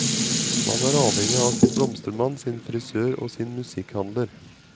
Man er avhengig av sin blomstermann, sin frisør og sin musikkhandler.